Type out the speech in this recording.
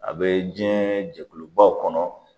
A bee jiɲɛn jɛkulubaw kɔnɔ